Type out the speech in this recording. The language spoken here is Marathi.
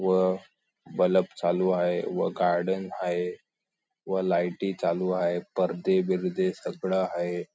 व बलप चालू आहे व गार्डन आहे व लाईटी चालू आहे परदे बीरदे सगळ आहे.